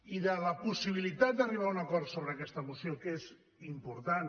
i de la possibilitat d’arribar a un acord sobre aquesta moció que és important